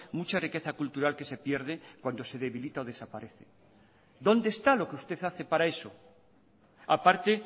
mucha riqueza cultural que se pierde cuando se debilita o desaparece dónde está lo que usted hace para eso a parte